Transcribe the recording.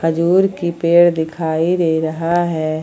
खजूर की पेड़ दिखाई दे रहा है।